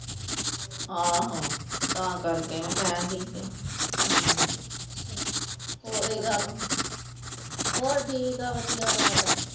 ਆਹੋ! ਤਾਂ ਕਰਕੇ ਮੈਂ ਕਿਹਾ ਠੀਕ ਆ ਹੋਰ ਠੀਕ ਏ ਵਧੀਆ ਵਾ ਸਾਡਾ।